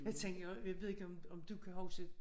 Jeg tænker også jeg ved ikke om om du kan huske